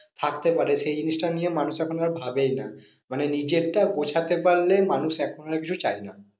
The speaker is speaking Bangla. থাকতে পারে সেই জিনিসটা নিয়ে মানুষ এখন আর ভাবেই না। মানে নিজেরটা গোছাতে পারলে মানুষ এখন আর কিছু চায় না।